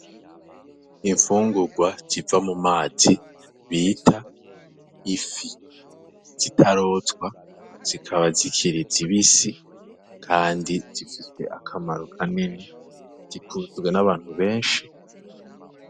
Imfungurwa ziva mu mazi bita ifi zitarozwa zikaba zikiriza ibisi, kandi zifise akamaro kanene zikundwe n'abantu benshi.